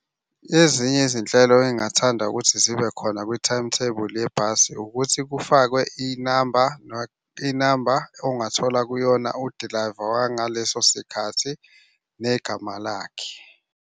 Ezinye izinhlelo engingathanda ukuthi zibe khona kwi-timetable yebhasi ukuthi kufakwe inamba inamba ongathola kuyona udilayiva wangaleso sikhathi negama lakhe.